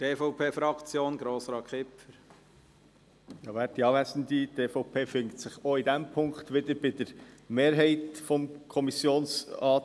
Die EVP steht auch bei diesem Punkt hinter dem Mehrheitsantrag der Kommission.